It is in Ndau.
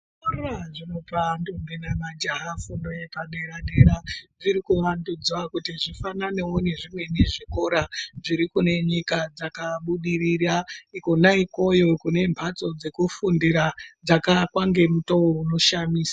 Zvikora zvinopa ndombi nemajaha fundo yepadera dera zvirikuvandudzwa kuti zvifananewo nezvimweni zvikora zviri kunenyika dzakabudirira kwona ikweyo kune mhatso dzekufundira dzakaakwa ngemutoo unoshamisa.